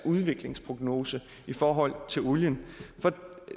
udviklingsprognose i forhold til olien for